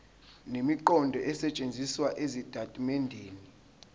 nemiqondo esetshenzisiwe ezitatimendeni